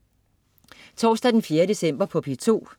Torsdag den 4. december - P2: